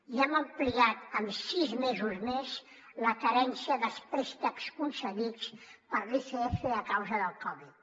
i hem ampliat en sis mesos més la carència dels préstecs concedits per l’icf a causa del covid